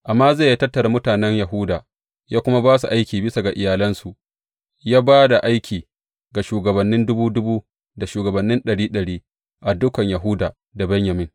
Amaziya ya tattara mutanen Yahuda ya kuma ba su aiki bisa ga iyalansu, ya ba da aiki ga shugabannin dubu dubu da shugabannin ɗari ɗari, a dukan Yahuda da Benyamin.